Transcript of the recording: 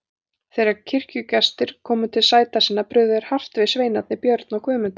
Þegar kirkjugestir voru komnir til sæta sinna brugðu þeir hart við sveinarnir, Björn og Guðmundur.